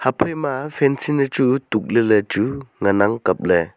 phaima fencin echu tukley lechu ngan kapley.